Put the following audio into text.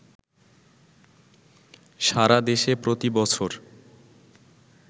সারা দেশে প্রতিবছর